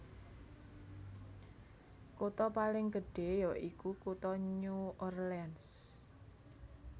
Kutha paling gedhé ya iku kutha New Orleans